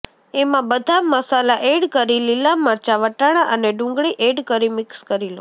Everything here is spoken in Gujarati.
એમાં બધા મસાલા એડ કરી લીલા મરચા વટાણા અને ડુંગળી એડ કરી મિક્સ કરી લો